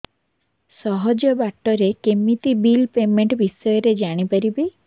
ସହଜ ବାଟ ରେ କେମିତି ବିଲ୍ ପେମେଣ୍ଟ ବିଷୟ ରେ ଜାଣି ପାରିବି